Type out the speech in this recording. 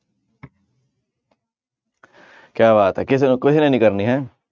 ਕਿਆ ਬਾਤ ਹੈ ਕਿਸੇ ਨੇ, ਕਿਸੇ ਨੇ ਨੀ ਕਰਨੀ ਹੈਂ